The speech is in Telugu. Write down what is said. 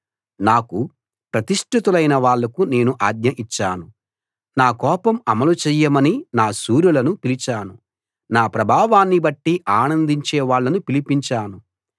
నాకు ప్రతిష్ఠితులైన వాళ్లకు నేను ఆజ్ఞ ఇచ్చాను నా కోపం అమలు చెయ్యమని నా శూరులను పిలిచాను నా ప్రభావాన్నిబట్టి ఆనందించే వాళ్ళను పిలిపించాను